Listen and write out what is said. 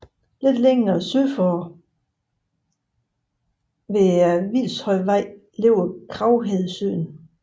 Lidt længere sydpå ved Hvilshøjvej ligger Kraghedesøen